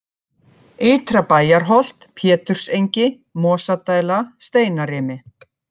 Ytra-Bæjarholt, Pétursengi, Mosadæla, Steinarimi